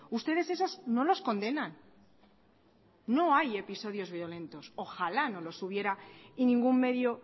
ustedes esos no los condenan no hay episodios violentos ojalá no los hubiera y ningún medio